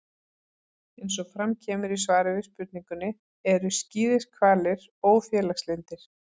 Eins og fram kemur í svari við spurningunni: Eru skíðishvalir ófélagslyndir?